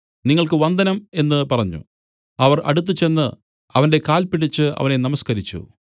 നിങ്ങൾക്ക് വന്ദനം എന്നു പറഞ്ഞു അവർ അടുത്തുചെന്ന് അവന്റെ കാൽപിടിച്ച് അവനെ നമസ്കരിച്ചു